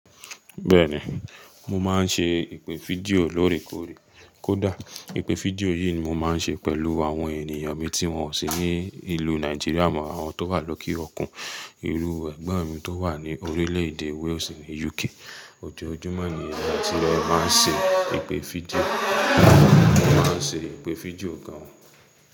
Bẹ́ẹ̀ni, mo máa ń ṣe ìpè fídíò lóòrèkóòrè. Kódà ìpè fídíò yìí ni mo máa ń ṣe pẹ̀lú àwọn ènìyàn mi tí wọ́n sì ní ìlú Nàìjíríà mọ́ àwọn tó wà lókìí Ọ̀kún, irú ẹgbẹ́ mi tó wà ní orílẹ̀-èdè Wales ni UK. Ojoojúmọ́ ni ẹni tí wọ́n máa ń ṣe ìpè fídíò, mo máa ń ṣe ìpè fídíò gan.